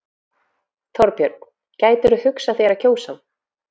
Þorbjörn: Gætirðu hugsað þér að kjósa hann?